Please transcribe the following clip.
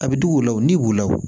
A bɛ digi u la o ni b'u law